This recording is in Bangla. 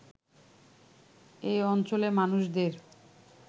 এই অঞ্চলের মানুষদের